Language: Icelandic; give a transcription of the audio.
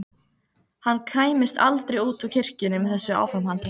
Hann kæmist aldrei út úr kirkjunni með þessu áframhaldi.